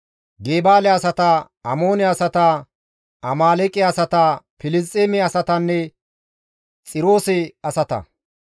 Gebaale asata, Amoone asata, Amaaleeqe asata, Filisxeeme asatanne Xiroose asata.